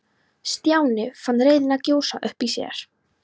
Stjáni fann reiðina gjósa upp í sér.